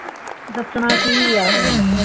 ਦੱਸਣਾ ਕਿ ਆ